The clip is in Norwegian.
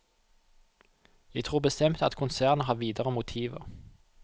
Jeg tror bestemt at konsernet har videre motiver.